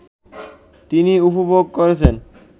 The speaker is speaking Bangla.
তিনি উপভোগ করেছেন